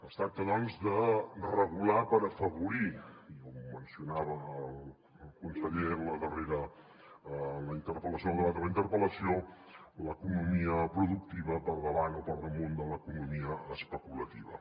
es tracta doncs de regular per afavorir i ho mencionava el conseller en la darrera interpel·lació al debat de la interpel·lació l’economia productiva per davant o per damunt de l’economia especulativa